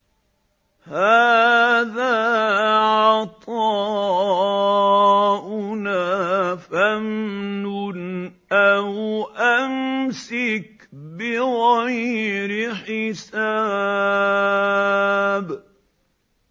هَٰذَا عَطَاؤُنَا فَامْنُنْ أَوْ أَمْسِكْ بِغَيْرِ حِسَابٍ